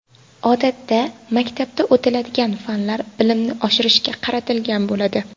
Odatda, maktabda o‘tiladigan fanlar bilimni oshirishga qaratilgan bo‘ladi.